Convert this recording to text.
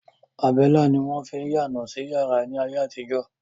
Àbẹ́lá ni wọ́n fín yáná sí yàrá ni ayé àtijọ́.